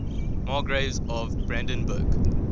margraves of brandenburg